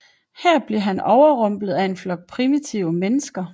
Her bliver han overrumplet af en flok primitive mennesker